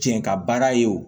Cɛ ka baara ye o